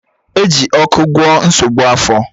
Eji ọkụ gwọọ nsogbu afọ